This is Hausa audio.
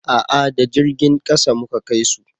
a'a da jirgin ƙasa mu Ka kai su